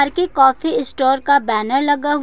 ये coffee store का banner लगा हुआ--